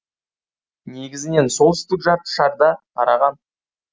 негізінен солтүстік жарты шарда тараған